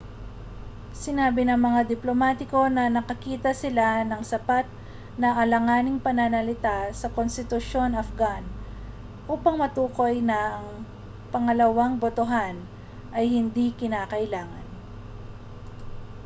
sinabi ng mga diplomatiko na nakakita sila ng sapat na alanganing pananalita sa konstitusyong afghan upang matukoy na ang pangalawang botohan ay hindi kinakailangan